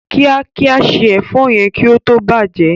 kíákíá se èfó yén kí ó tó bàjé.